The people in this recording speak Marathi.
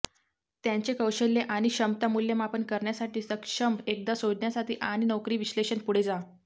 त्यांचे कौशल्य आणि क्षमता मूल्यमापन करण्यासाठी सक्षम एकदा शोधण्यासाठी आणि नोकरी विश्लेषण पुढे जा